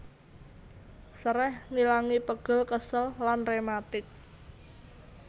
Sereh ngilangi pegel kesel lan rematik